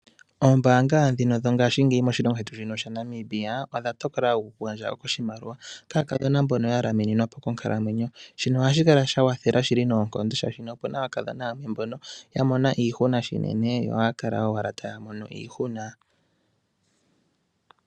Ombaanga dhongashingeyi moshilongo shetu shaNamibia odha tokola oku gandja oshimaliwa kaakadhona mbono ya lamininwapo konkalamwenyo. Shino ohashi kala sha kwathela noonkondo shaashi ope na aakadhona yamwe mbono ya mona iihuna shinene.